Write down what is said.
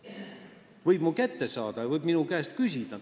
Ta võib mu kätte saada, ta võib minu käest küsida.